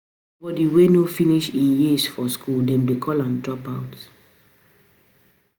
Anybody wey no finish im years for school dem de call am dropout